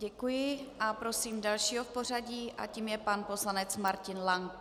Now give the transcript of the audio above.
Děkuji a prosím dalšího v pořadí a tím je pan poslanec Martin Lank.